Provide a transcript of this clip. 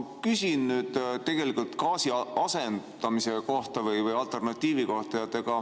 Ma küsin tegelikult gaasi asendamise kohta või alternatiivi kohta.